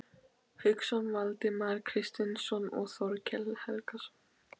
Hauksson, Valdimar Kristinsson og Þorkell Helgason.